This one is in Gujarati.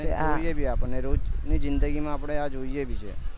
કે આ ને જોઈએ બી આપણે રોજ ની જીદગી આપણે આ જોઈએ બી છે